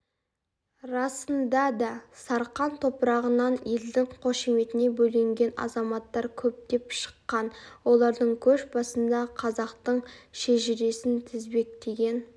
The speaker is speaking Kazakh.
расында да сарқан топырағынан елдің қошеметіне бөленген азаматтар көптеп шыққан олардың көш басында қазақтың шежіресін тізбектеген